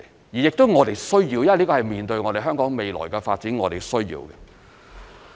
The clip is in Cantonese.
而這亦是我們所需要的，因為是面對香港未來的發展我們所需要的。